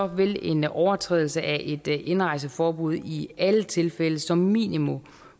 vil en overtrædelse af et indrejseforbud i alle tilfælde som minimum